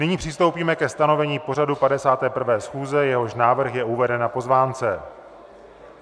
Nyní přistoupíme ke stanovení pořadu 51. schůze, jehož návrh je uveden na pozvánce.